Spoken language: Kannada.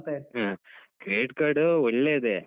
ಹ್ಮ್ Credit Card ಒಳ್ಳೇದೆ.